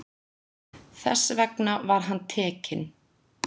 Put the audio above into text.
Þess vegna var hann tekinn.